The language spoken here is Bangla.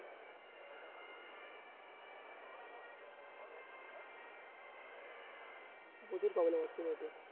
প্রচুর problem হচ্ছে net এ